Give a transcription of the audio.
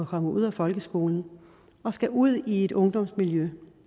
kommet ud af folkeskolen og skal ud i et ungdomsmiljø